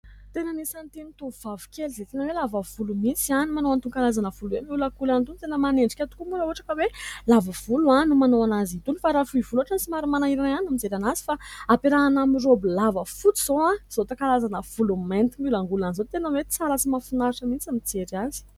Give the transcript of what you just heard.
Tena anisan'ny tovovavy kely izay tena hoe lava volo mihintsy ihany no manao an'itony karazana volo hoe miolagolana itony; tena manendrika tokoa moa raha ohatra hoe lava volo no manao anazy itony fa raha fohy volo ohatra somary manahirana ihany mijery azy. Fa hampiarahana amin'ny raoby lava fotsy izao karazana volo mainty miolangolana izao, tena hoe tsara sy Mahafinaritra mihintsy ny mijery azy.